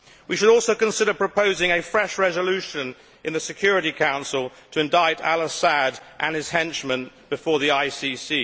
We should also consider proposing a fresh resolution in the Security Council to indict al Assad and his henchmen before the ICC.